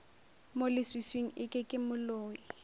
mo leswiswing eke ke moloi